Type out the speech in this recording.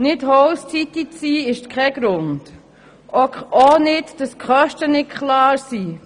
Nicht Host-City zu sein, ist ebenso wenig ein Grund wie die gegenwärtige Unklarheit der Kosten.